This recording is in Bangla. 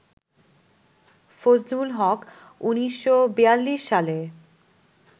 ফজলুল হক ১৯৪২ সালে